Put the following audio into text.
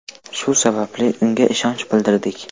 Shu sababli unga ishonch bildirdik.